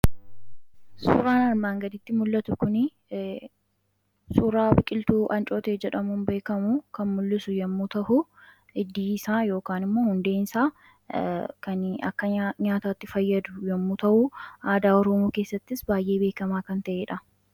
suuraan armaan gaditti mul'atu kun suuraa biqiltuu ancootee jedhamuun beekamu kan mul'isu yemmuu ta'u, hiddii isaa iyookaan immoo hundeeen isaa kan akka nyaataatti fayyadu yeroo ta'u aadaa oroomo keessattis baay'ee beekamaa kan ta'ee dha.